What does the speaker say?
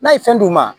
N'a ye fɛn d'u ma